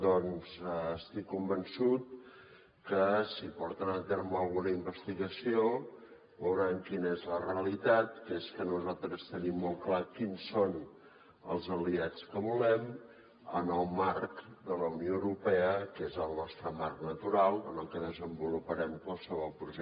doncs estic convençut que si porten a terme alguna investigació veuran quina és la realitat que és que nosaltres tenim molt clar quins són els aliats que volem en el marc de la unió europea que és el nostre marc natural en el que desenvoluparem qualsevol projecte polític